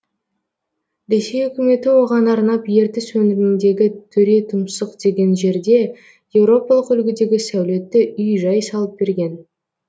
ресей үкіметі оған арнап ертіс өңіріндегі төретұмсық деген жерде еуропалық үлгідегі сәулетті үй жай салып берген